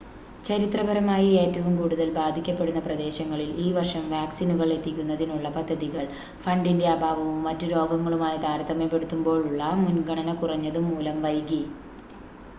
ചരിത്രപരമായി ഏറ്റവും കൂടുതൽ ബാധിക്കപ്പെടുന്ന പ്രദേശങ്ങളിൽ ഈ വർഷം വാക്‌സിനുകൾ എത്തിക്കുന്നതിനുള്ള പദ്ധതികൾ ഫണ്ടിൻ്റെ അഭാവവും മറ്റ് രോഗങ്ങളുമായി താരതമ്യപ്പെടുത്തുമ്പോളുള്ള മുൻഗണന കുറഞ്ഞതും മൂലം വൈകി